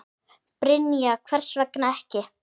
Brynja: Hvers vegna ekki?